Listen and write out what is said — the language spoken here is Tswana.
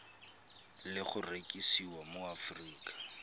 le go rekisiwa mo aforika